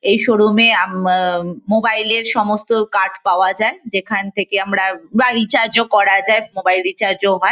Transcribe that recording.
এই শোরুম -এ আম আ মোবাইল -এর সমস্ত কার্ড পাওয়া যায় যেখান থেকে আমরা বা রিচার্জ -ও করা যায় মোবাইল রিচার্জ -ও হয়।